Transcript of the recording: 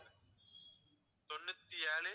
தொண்ணூத்தி ஏழு